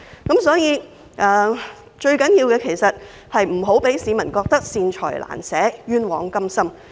政府不應讓市民認為它"善財難捨，冤枉甘心"。